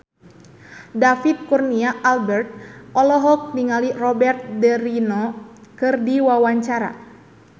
David Kurnia Albert olohok ningali Robert de Niro keur diwawancara